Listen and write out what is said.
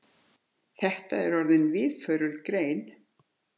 Þetta er orðin víðförul grein.